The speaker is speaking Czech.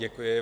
Děkuji.